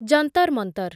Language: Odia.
ଜନ୍ତର୍ ମନ୍ତର୍